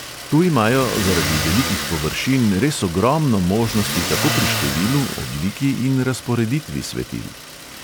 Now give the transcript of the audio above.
Tu imajo zaradi velikih površin res ogromno možnosti tako pri številu, obliki in razporeditvi svetil.